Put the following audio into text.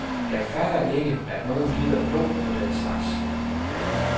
Jeg fatter ikke, at nogen gider glo på den slags.